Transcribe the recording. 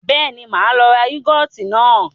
Bẹ́ẹ̀ni, máa lọ ra yúgọ́ọ́tì náà.